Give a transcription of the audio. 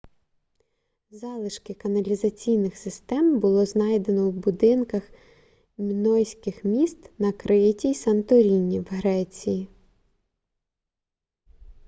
залишки каналізаційних систем було знайдено в будинках мінойських міст на криті й санторіні в греції